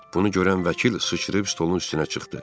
Bunu görən vəkil sıçrayıb stolun üstünə çıxdı.